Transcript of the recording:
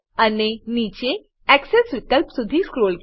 અને નીચે એક્સેસ વિકલ્પ સુધી સ્ક્રોલ કરો